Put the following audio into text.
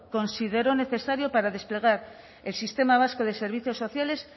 consideró necesario para desplegar el sistema vasco de servicios sociales